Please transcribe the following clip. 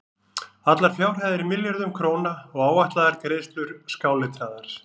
Allar fjárhæðir í milljörðum króna og áætlaðar greiðslur skáletraðar.